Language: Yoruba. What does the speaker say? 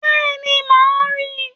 Bẹ́ẹ̀ni, màá rìn